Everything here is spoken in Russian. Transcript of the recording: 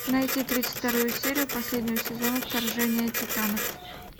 найти тридцать вторую серию последнего сезона вторжение титанов